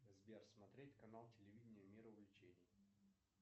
сбер смотреть канал телевидения мир увлечений